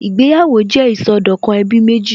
Ìgbéyàwó jẹ́ ìsọdọ̀kan ẹbí méjì